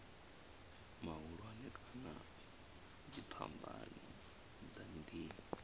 mahulwane kana dziphambano dza miḓini